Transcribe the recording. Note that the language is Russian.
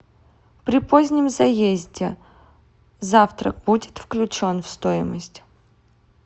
при позднем заезде завтрак будет включен в стоимость